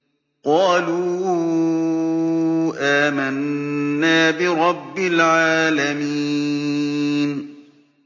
قَالُوا آمَنَّا بِرَبِّ الْعَالَمِينَ